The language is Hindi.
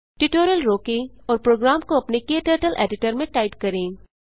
ट्यूटोरियल रोकें और प्रोग्राम को अपने क्टर्टल्स एडिटर में टाइप करें